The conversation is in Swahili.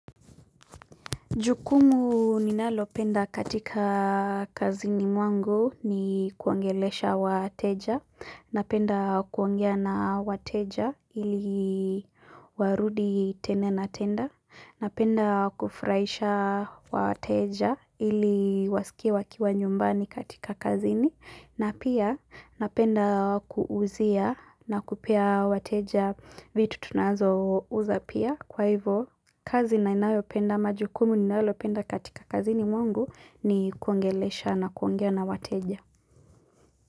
Jukumu ninalo penda katika kazini mwangu ni kuongelesha wateja, napenda kuongea na wateja ili warudi tene na tena, napenda kufurahisha wateja ili wasikie wakiwa nyumbani katika kazini, na pia napenda kuuzia na kupea wateja vitu tunazo uza pia. Kwa hivyo, kazi ninayo penda ama jukumu ninalopenda katika kazini mwangu ni kuongelesha na kuongea na wateja.